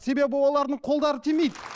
себебі олардың қолдары тимейді